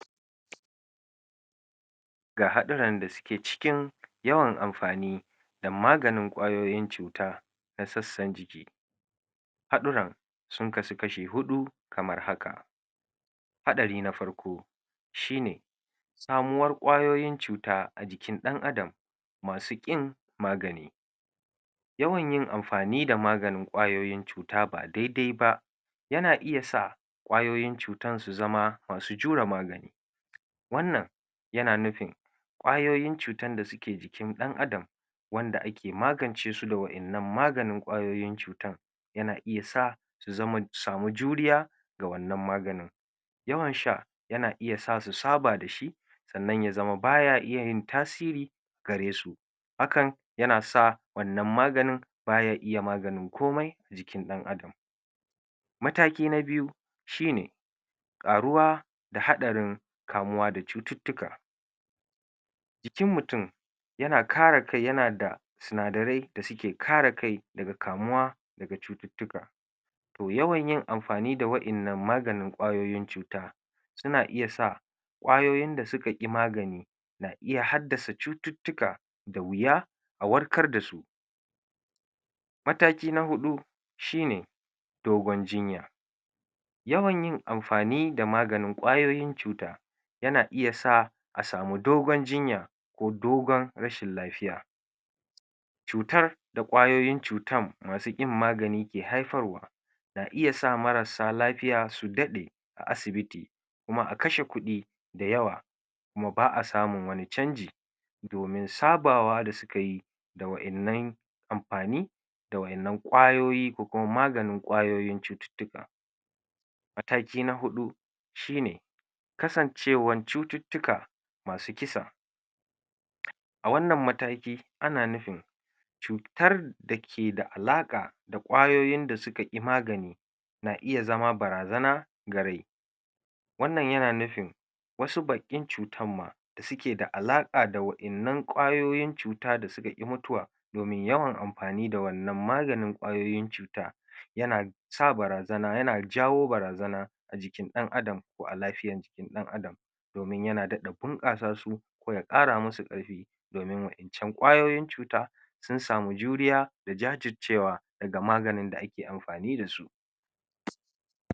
ga haɗuran da su ke cikin yawan anfani da maganin ƙwayoyin cuta na sassan jiki haɗura sun kasu kashi hudu kamar haka haɗari na farko shine samuwar ƙwayoyin cuta ajikin dan adam masu ƙin magani yawan yin anfani da maganin ƙwayoyin cu ta ba daidai ba yana iya sa ƙwayoyin cutan su zama masu jure magani wanan yana nufin ƙwayoyin cutan da suke jikin dan adam wanda ake magance su da wa ƴanan maganin ƙwayoyin cuta yana iya sa su zama su samu juriya ga wanan maganin yawan sha yana iya sa su saba dashi sanan ya zama baya iya tasiri garesu hakan yanasa wanan maganin baya iya maganin komai jikn dan adam mataki na biyu shine ƙaruwa da haɗarin kamuwa da cututtuka ki mutun yana kare kai yana da sinsdarai dasuke kare kai daga kamuwa daga cututtuka yawan yin anfani da wa ƴanan maganin ƙwayoyin cuta suna iya sa ƙwayoyin da suka ƙi magani ya haddasa cututtuka da wuya a warkar dasu mataki na haɗu shine dogon jinya yawan yin anfani da maganin ƙwayoyin cuta yana iya sa tamu dogon jinya ko dogon rashin lafiya cutar da ƙweayoyin cutan masu ƙin magani ke haifarwa na iya sa marasa lafiya su daɗe a asibiti kuma akashe kuɗi dayawa kuma ba'asamun wani canji domin sabawa da kai da waƴanan anfanin da waƴanan ƙwayoyi ko kuma maganin cututtuka mataki na huɗu shine kasancewan cututtuka masu kisa a wanan mataki ana nufin cutar dake da ala ƙa da ƙwayoyin da suka ƙi magani na iya zama barazana ga rai wanan yana nufin wasu ba ƙin cutan ma suke da alaƙa da waƴanan ƙwayoyin cuta da suka ƙi mutuwa domin yawan anfani da wanan magainin ƙwayoyin cuta yana sa barazana ,yana jawo barazana ajikin ɗan adam ko a lafiyan jikin ɗan adam domin yana daɗa bunƙasa su ko ya ƙara musu ƙarfi domin wayacan ƙwayoyin cuta sun samu juriya da jajijcewa daga maganin da'ake anfani dasu